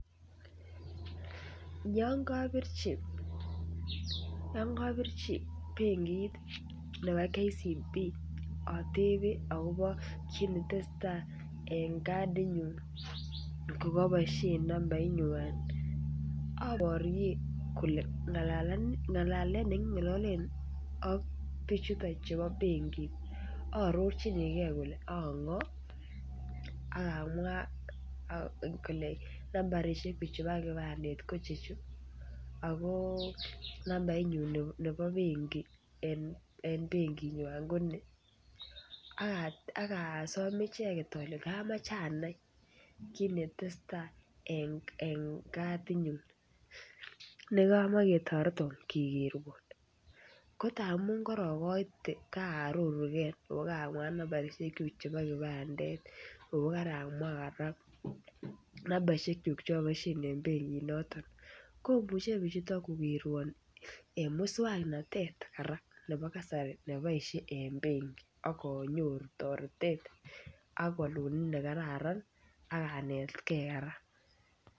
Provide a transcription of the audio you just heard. Yon kobirchi yon kobirchi benkit nebo Kenya Commercial Bank otebe akobo kit netesetai en kadit nyun kokoboisien nambait nywan oborien kole ng'alalet nekingololen ak bichuton chebo benki aarorchinigee kole ang'oo ak amwaa kole nambarisiek kyuk chebo kipandet ko chu ako nambait nyun nebo benkit en benkit nywan ko ni ak asom icheket ole kamoche anai kit netesetai en kadit nyun nekomoe ketoreton kekerwon ko tamun korokoite kaarorugee ako kamwaa nambarisiek kyuk chebo kipandet ako karamwaa kora nambarisiek kyuk chboisien en benkit noton komuche bichuton kokerwon en muswongnotet kora nebo kasari nekiboisien en benki ak onyoru toretet ak wolunet nekararan ak anetgee kora